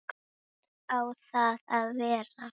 Hvar á það að vera?